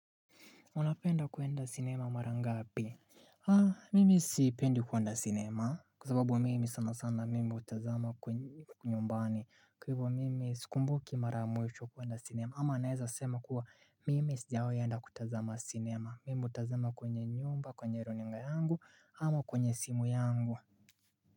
Unapenda kuenda sinema mara ngapi? Mimi sipendi kuenda sinema kwa zababu mimi sana sana mimi utazama kwenye nyumbani Kwa hivyo mimi skumbuki mara ya mwisho kuenda sinema ama naeza sema kuwa mimi sijawai enda kutazama sinema Mimi utazama kwenye nyumba, kwenye runinga yangu ama kwenye simu yangu.